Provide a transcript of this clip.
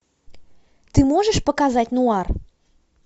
ты можешь показать нуар